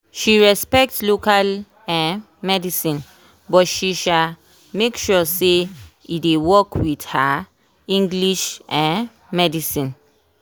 she respect local um medicine but she um make sure say e dey work with her english um medicine.